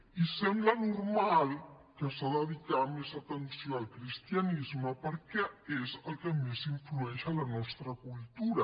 i sembla normal que s’hagi de dedicar més atenció al cristianisme perquè és el que més influeix en la nostra cultura